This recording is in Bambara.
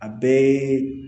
A bɛɛ